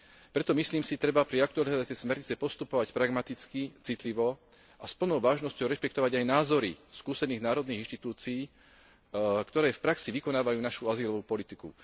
Preto, myslím si, treba pri aktualizácii smernice postupovať pragmaticky, citlivo a s plnou vážnosťou rešpektovať aj názory skúsených národných inštitúcií, ktoré v praxi vykonávajú našu azylovú politiku.